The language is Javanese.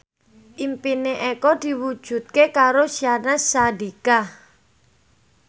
impine Eko diwujudke karo Syahnaz Sadiqah